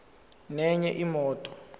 nenye imoto